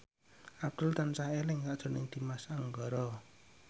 Abdul tansah eling sakjroning Dimas Anggara